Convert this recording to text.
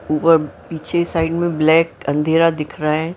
ऊपर पीछे साइड में ब्लैक अंधेरा दिख रहा है।